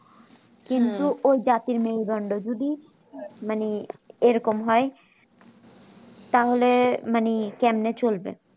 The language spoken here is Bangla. কিন্তু ওই গাছের মেরুদন্ড যদি মানে ওই রকম হয় তাহলে মানে কেমনে চলবে